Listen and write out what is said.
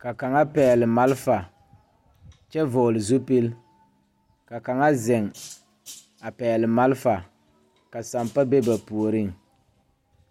ka kaŋa pɛgle malfa kyɛ vɔgle zupil ka kaŋa ziŋ a pɛgle malfa ka sampa be ba puoriŋ.